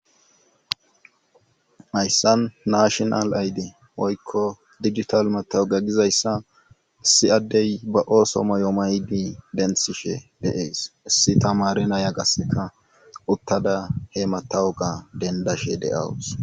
ayssan nashonal ayde oykko digital matawuga gizayssa issi addey ba ooso moyo maydi denthishe deees issi tamare naya gasseka uttada he matawu ga dendashe deawus